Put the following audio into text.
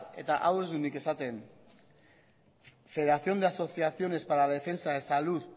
eta hau ez dut nik esaten federación de asociaciones para la defensa de salud